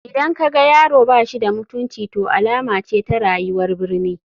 Idan ka ga yaro ba shi da mutunci to alama ce ta rayuwar birni.